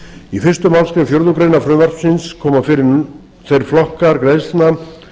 í fyrstu málsgrein fjórðu grein frumvarpsins koma fyrir þeir flokkar greiðslna